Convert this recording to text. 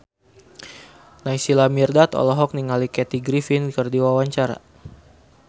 Naysila Mirdad olohok ningali Kathy Griffin keur diwawancara